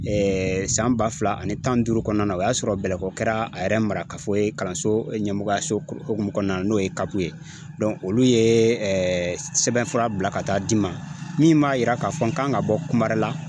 san ba fila ani tan ni duuru kɔnɔna na o y'a sɔrɔ Bɛlɛko kɛra a yɛrɛ mara ka fɔ ye kalanso ɲɛmɔgɔya so kukumu kɔnɔna na n'o ye CAP ye olu ye sɛbɛnfura bila ka taa di n ma min b'a yira k'a fɔ n kan ka bɔ kumarela